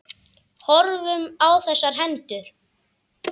Horfðum á þessar hendur.